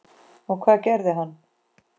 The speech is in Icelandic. Og hvað gerði hann?